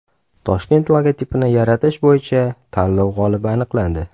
Toshkent logotipini yaratish bo‘yicha tanlov g‘olibi aniqlandi .